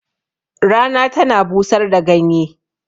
Rana tana busar da ganye